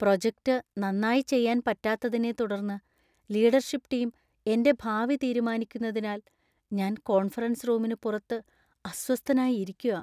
Project നന്നായി ചെയ്യാൻ പറ്റാത്തതിനെത്തുടർന്ന് ലീഡർഷിപ് ടീം എന്‍റെ ഭാവി തീരുമാനിക്കുന്നതിനാൽ ഞാന്‍ കോൺഫറൻസ് റൂമിന് പുറത്ത് അസ്വസ്ഥനായി ഇരിക്കുകാ.